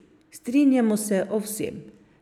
Strinjamo se o vsem.